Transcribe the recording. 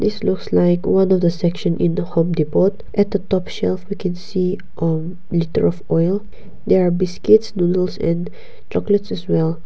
this looks like one of the section in the home depot at the top shelf we can see a litre of oil there are biscuits noodles and chocolates as well.